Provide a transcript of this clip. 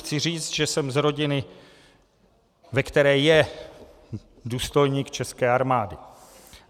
Chci říct, že jsem z rodiny, ve které je důstojník české armády.